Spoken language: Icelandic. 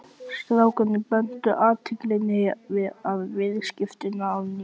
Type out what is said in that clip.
Strákarnir beindu athyglinni að viðskiptunum að nýju.